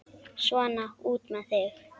Svona, út með þig!